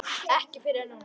Ekki fyrr en núna.